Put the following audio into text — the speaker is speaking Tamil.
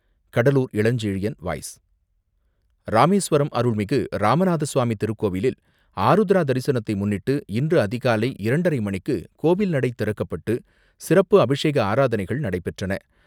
கடலூர் இளஞ்செழியன் வாய்ஸ் ராமேஸ்வரம் அருள்மிகு ராமநாத சுவாமி திருக்கோவிலில் ஆருத்ரா தரிசனத்தை முன்னிட்டு, இன்று அதிகாலை இரண்டரை மணிக்கு கோவில் நடை திறக்கப்பட்டு, சிறப்பு அபிஷேக ஆராதனைகள் நடைபெற்றன.